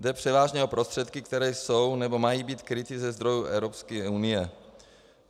Jde převážně o prostředky, které jsou nebo mají být kryty ze zdrojů Evropské unie.